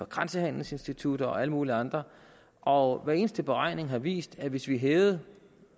grænsehandelsinstitutter og alle mulige andre og hver eneste beregning har vist at hvis vi hævede